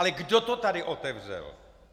Ale kdo to tady otevřel?